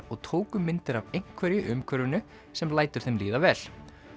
og tóku myndir af einhverju í umhverfinu sem lætur þeim líða vel